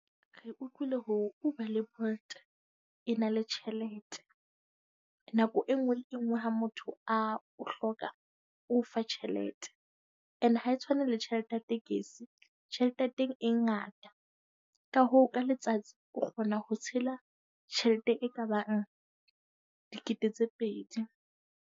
Re utlwile hore Uber le Bolt e na le tjhelete. Nako e nngwe le engwe ha motho a o hloka, o o fa tjhelete. And ha e tshwane le tjhelete ya tekesi. Tjhelete ya teng e ngata. Ka hoo ka letsatsi, o kgona ho tshela tjhelete e ka bang dikete tse pedi.